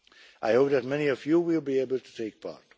I hope that many of you will be able to take part.